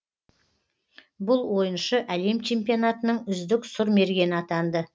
бұл ойыншы әлем чемпионатының үздік сұрмергені атанды